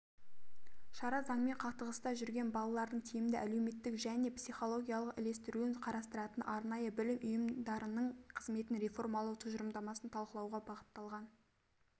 шара заңмен қақтығыста жүрген балалардың тиімді әлеуметтік және психологиялық ілестіруін қарастыратын арнайы білім ұйымдарының қызметін реформалау тұжырымдамасын талқылауға бағыталған